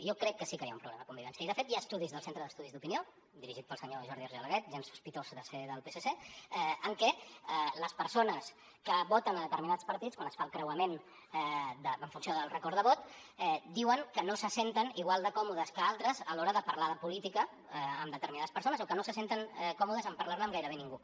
jo crec que sí que hi ha un problema de convivència i de fet hi ha estudis del centre d’estudis d’opinió dirigit pel senyor jordi argelaguet gens sospitós de ser del psc en què les persones que voten determinats partits quan es fa el creuament en funció del record de vot diuen que no se senten igual de còmodes que d’altres a l’hora de parlar de política amb determinades persones o que no se senten còmodes a parlar ne amb gairebé ningú